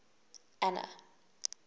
anna